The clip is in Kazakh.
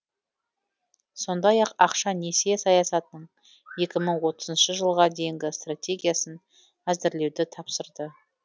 сондай ақ ақша несие саясатының екі мың отызыншы жылға дейінгі стратегиясын әзірлеуді тапсырды